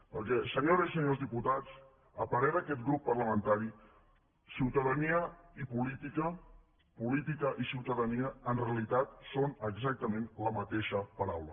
perquè senyores i senyors diputats a parer d’aquest grup parlamentari ciutadania i política política i ciutadania en realitat són exactament la mateixa paraula